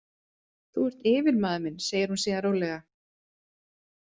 Þú ert yfirmaður minn, segir hún síðan rólega.